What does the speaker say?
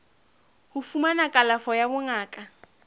ho fumana kalafo ya bongaka